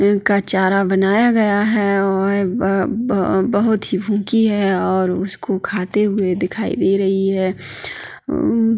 एक का चारा बनाया गया है और ब-ब-ब -बहोत ही भूंकि है और उसको खाते हुए दिखाई दे रही है।